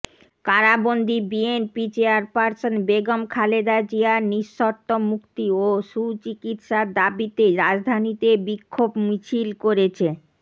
কারাবন্দী BNP chairperson Begum Khaleda জিয়ার নিঃশর্ত মুক্তি ও সুচিকিৎসার দাবিতে রাজধানীতে বিক্ষোভ মিছিল করেছে